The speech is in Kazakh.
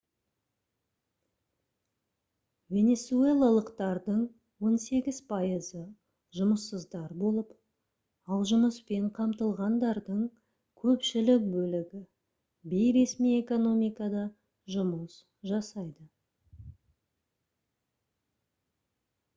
венесуэлалықтардың он сегіз пайызы жұмыссыздар болып ал жұмыспен қамтылғандардың көпшілік бөлігі бейресми экономикада жұмыс жасайды